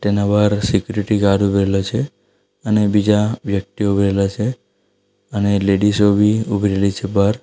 એના બાર security guard ઊભી રેલા છે અને બીજા વ્યક્તિઓ ઉભી રેલા છે અને લેડીઝો બી ઊભી રેલી છે બહાર.